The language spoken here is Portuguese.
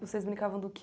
Vocês brincavam do quê?